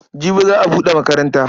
Jibi za a buɗe makaranta.